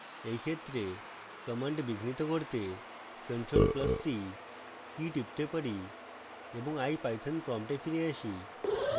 in ক্ষেত্রে command বিঘ্নিত করতে ctrl + c কী টিপতে পারি এবং ipython prompt ফিরে যাই